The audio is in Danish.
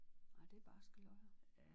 Nej det er barske løjer